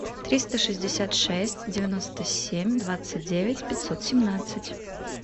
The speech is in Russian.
триста шестьдесят шесть девяносто семь двадцать девять пятьсот семнадцать